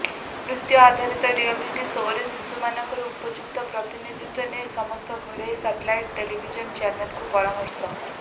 ନୃତ୍ୟ ଆଧାରିତ reality show ରେ ଶିଶୁମାନଙ୍କର ଉପଯୁକ୍ତ ପ୍ରତିନିଧିତ୍ୱ ନେଇ ସମସ୍ତ ଘରୋଇ ସାଟେଲାଇଟ ଟେଲିଭିଜନ ଚ୍ୟାନେଲଙ୍କୁ ପରାମର୍ଶ